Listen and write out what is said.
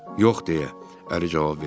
Yox, deyə əri cavab verdi.